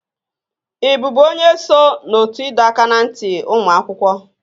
Ị bụbu onye so na ótú ịdọ aka ná ntị ụmụ akwụkwọ?